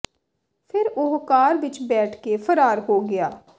ਫਿਰ ਉਹ ਕਾਰ ਵਿਚ ਬੈਠ ਕੇ ਫਰਾਰ ਹੋ ਗਿਆ